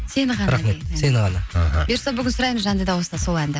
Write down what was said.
сені ғана рахмет сені ғана іхі бұйырса бүгін сұраймыз жанды дауыста сол әнді